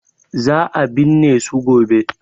Za a binne su gobe.